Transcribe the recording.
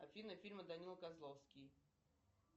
афина фильмы данила козловский